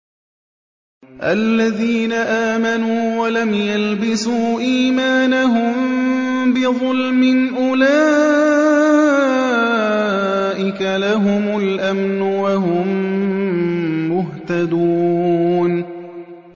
الَّذِينَ آمَنُوا وَلَمْ يَلْبِسُوا إِيمَانَهُم بِظُلْمٍ أُولَٰئِكَ لَهُمُ الْأَمْنُ وَهُم مُّهْتَدُونَ